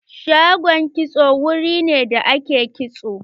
Shagon kitso wuri ne da ake kitso.